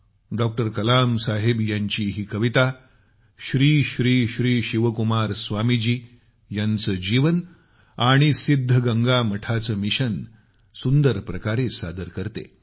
doctor Kalam साहेब यांची ही कविता श्री श्री श्री शिवकुमार स्वामी जी यांचे जीवन आणि सिद्धगंगा मठाचे मिशन सुंदर प्रकारे सादर करते